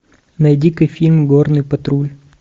найди ка фильм горный патруль